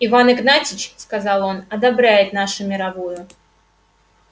иван игнатьич сказал он одобряет нашу мировую